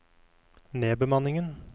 nedbemanningen